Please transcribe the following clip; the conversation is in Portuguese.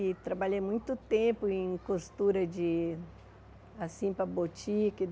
E trabalhei muito tempo em costura de... Assim, para botique.